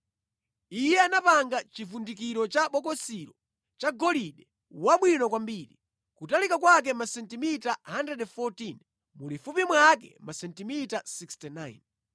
Iye anapanga chivundikiro cha bokosilo cha golide wabwino kwambiri, kutalika kwake masentimita 114, mulifupi mwake masentimita 69.